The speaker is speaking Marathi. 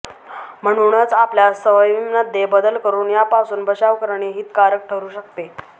म्हणूनच आपल्या सवयींमध्ये बदल करून यापासून बचाव करणे हितकारक ठरू शकते